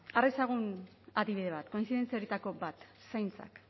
har dezagun adibide bat kointzidentzia horietako bat zaintzak